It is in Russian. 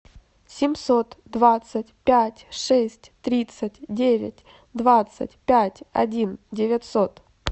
семьсот двадцать пять шесть тридцать девять двадцать пять один девятьсот